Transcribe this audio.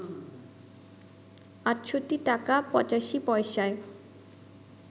৬৮ টাকা ৮৫ পয়সায়